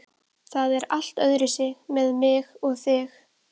Það er allt öðruvísi með mig og þig.